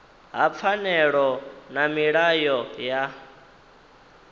ha pfanelo na milayo ya